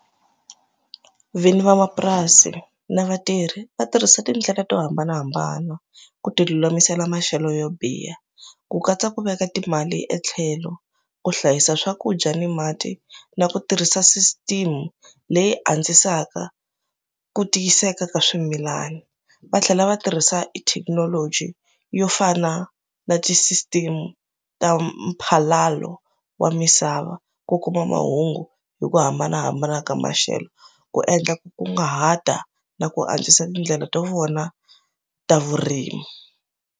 Vinyi vamapurasi na vatirhi va tirhisa tindlela to hambanahambana ku ti lulamisela maxelo yo biha ku katsa ku veka timali etlhelo ku hlayisa swakudya ni mati na ku tirhisa system leyi antswisaka ku tiyiseka ka swimilani va tlhela va tirhisa i thekinoloji yo fana na ti system ta mphalalo wa misava ku kuma mahungu hi ku hambanahambana ka maxelo ku endla ku kunguhata na ku antswisa tindlela to vona ta vurimi.